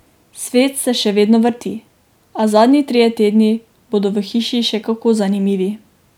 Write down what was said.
Svet se še vedno vrti, a zadnji trije tedni bodo v hiši še kako zanimivi.